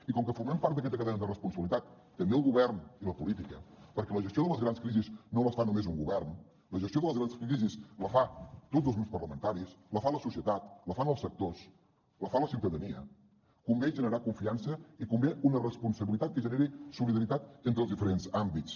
i com que formem part d’aquesta cadena de responsabilitat també el govern i la política perquè la gestió de les grans crisis no la fa només un govern la gestió de les grans crisis la fan tots els grups parlamentaris la fa la societat la fan els sectors la fa la ciutadania convé generar confiança i convé una responsabilitat que generi solidaritat entre els diferents àmbits